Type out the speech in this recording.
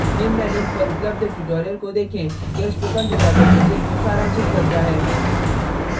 निम्न link पर उपलब्ध ट्यूटोरियल को देखें यह project को सारांशित करता है